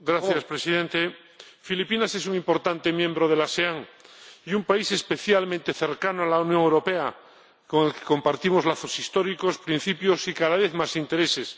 Señor Presidente, Filipinas es un importante miembro de la ASEAN y un país especialmente cercano a la Unión Europea con el que compartimos lazos históricos, principios y cada vez más intereses.